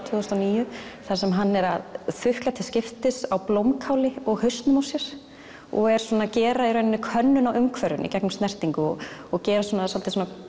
tvö þúsund og níu þar sem hann er að þukla til skiptis á blómkáli og hausnum á sér og er svona að gera í rauninni könnun á umhverfinu í gegnum snertingu og og gera svolítið svona